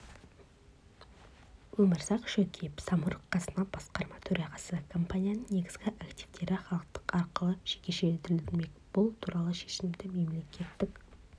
өмірзақ шөкеев самұрық қазына басқарма төрағасы компанияның негізгі активтері халықтық арқылы жекешелендірілмек бұл туралы шешімді мемлекеттік